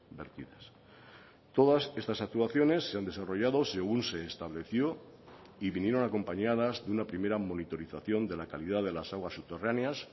vertidas todas estas actuaciones se han desarrollado según se estableció y vinieron acompañadas de una primera monitorización de la calidad de las aguas subterráneas